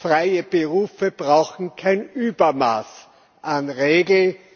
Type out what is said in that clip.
Freie Berufe brauchen kein Übermaß an Regeln.